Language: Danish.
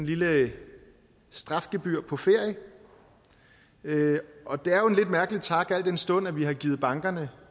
lille strafgebyr på ferie og det er jo en lidt mærkelig tak al den stund at vi har givet bankerne